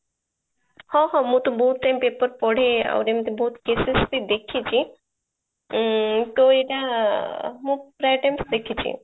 ହଁ ହଁ ମୁଁ ତ ବହୁଇଟ time paper ପଢେ ଆଉ ଏମିତି ବହୁତ cases ବି ଦେଖିଛି ଉଁ ତ ଏଇଟା ମୁଁ ପ୍ରାୟ time ଦେଖିଛି